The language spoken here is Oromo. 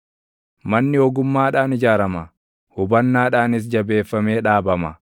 Manni ogummaadhaan ijaarama; hubannaadhaanis jabeeffamee dhaabama;